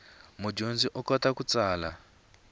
mudyondzi u kota ku tsala